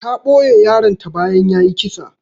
Ta ɓoye yaron ta bayan yayi kisa.